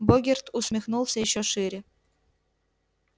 богерт усмехнулся ещё шире